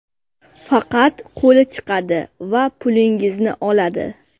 Faqat qo‘li chiqadi va pulingizni oladi.